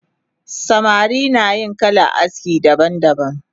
Samari nayin kalan aski daban daban